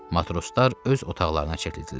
Matroslar öz otaqlarına çəkildilər.